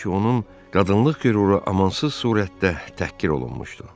Çünki onun qadınlıq qüruru amansız surətdə təhqir olunmuşdu.